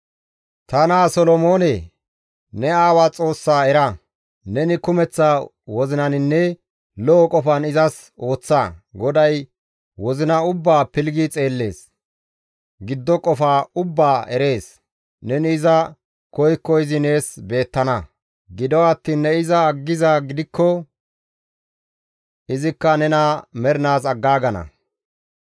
«Ta naa Solomoone, ne aawaa Xoossaa era! Neni kumeththa wozinaninne lo7o qofan izas ooththa; GODAY wozina ubbaa pilggi xeellees; giddo qofa ubbaa izi erees; neni iza koykko izi nees beettana; gido attiin ne iza aggizaa gidikko izikka nena mernaas aggaagana.